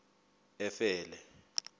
efele